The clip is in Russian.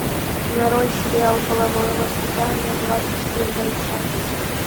нарой сериал половое воспитание двадцать первая часть